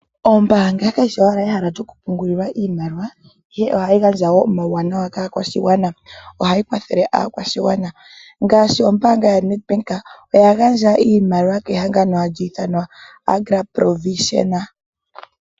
Ombaanga kayi shi owala ehala lyokupungulilwa iimaliwa, ihe ohayi gandja wo omauwanawa kaakwashigwana. Ohayi kwathele aakwashigwana. Ombaanga yaNedbank oya gandja iimaliwa kehangano hali ithanwa Agra Provision.